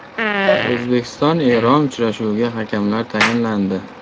O‘zbekiston Eron uchrashuviga hakamlar tayinlandi.